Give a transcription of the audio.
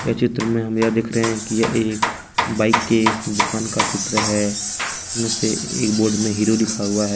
ये चित्र में हम यह देख रहे हैं कि एक बाइक के दुकान का चित्र है उसमें से एक बोर्ड में हीरो लिखा हुआ है।